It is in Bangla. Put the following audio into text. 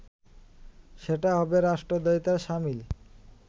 সেটা হবে রাষ্ট্রদ্রোহিতার শামিল